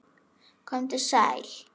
Komdu sæl.